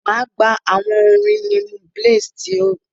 Máa gbà awọn orin Limoblaze ti o sọ yẹn.